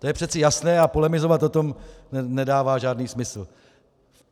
To je přeci jasné a polemizovat o tom nedává žádný smysl.